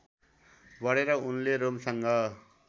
बढेर उनले रोमसँग